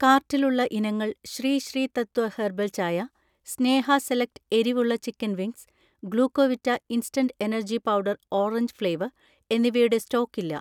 കാർട്ടിലുള്ള ഇനങ്ങൾ ശ്രീ ശ്രീ തത്വ ഹെർബൽ ചായ, സ്നേഹ സെലക്ട് എരിവുള്ള chicken wings, Glucovita instant energy powder orange flavour എന്നിവയുടെ സ്റ്റോക്കില്ല.